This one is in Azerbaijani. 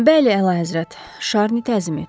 Bəli, əlahəzrət, Şarni təzmin etdi.